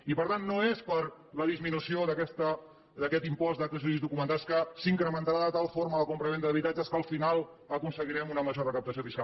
i per tant no és per la disminució d’aquest impost d’actes jurídics documentats que s’incrementarà de tal forma la compravenda d’habitatges que al final aconseguirem una major recaptació fiscal